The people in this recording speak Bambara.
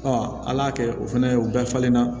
ala y'a kɛ o fɛnɛ ye u bɛɛ falen na